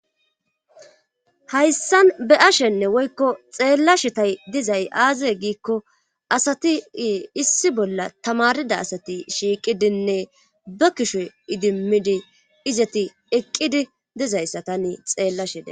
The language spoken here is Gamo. hayssan be' ashenne woykko xeellashetay dizay aazae giikko asati issi bolla tamarida asati shiiqidinne ba kishoy idimmidi izati eqqidi dizayssa tanne xeellashede'ays